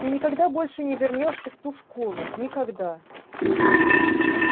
и никогда больше не вернёшься в ту школу никогда